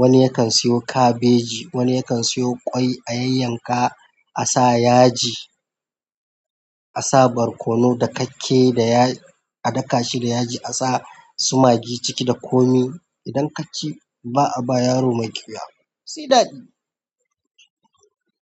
Wani yakan siyo kabeji, wani yakan siyo ƙwai a yanyanka a sa yaji, a sa barkono da kakke da adaka shi da yaji a sa su magi ciki da komi. Idan kaci ba a ba yaro mai ƙiwuya, sai daɗi.